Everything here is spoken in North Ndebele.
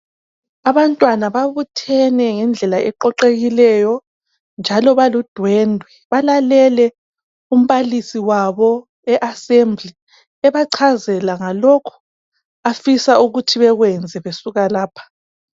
abantwna ababuthene ngendlela eqoqekileyo njalo baludwendwe balalele umbalisi wabo e assembly ebachazela ngalokhu afisa ukuthi bekwene besuka lapha